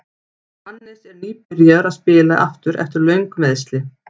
Hannes er nýbyrjaður að spila aftur eftir löng meiðsli.